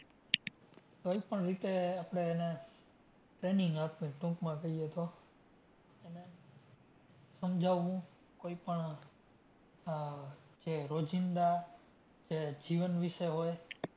કોઈ પણ રીતે આપણે એને training આપીએ ટૂંકમાં કહીએ તો એને સમજાવું. કોઈ પણ આહ જે રોજિંદા જે જીવન વિશે હોય,